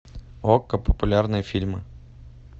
окко популярные фильмы